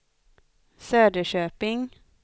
Söderköping